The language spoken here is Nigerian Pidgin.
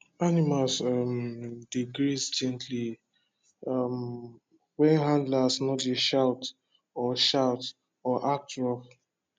animals um dey graze gently um when handlers no dey shout or shout or act rough